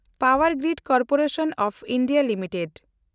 power grid corporation of India limited